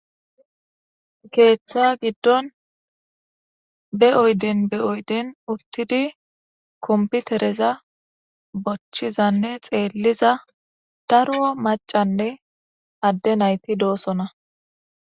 keeththa giddon be oyden be oyden uttidi komputereza bochchizanne xeelliza daro macanne adde nayti doosona